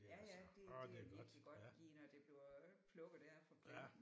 Ja ja det det er virkelig godt lige når det bliver plukket der fra planten